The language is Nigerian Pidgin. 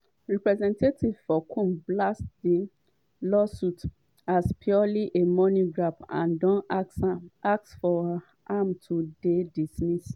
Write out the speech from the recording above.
representatives for combs blast di lawsuit as "purely a money grab" and don ask for am to dey dismissed.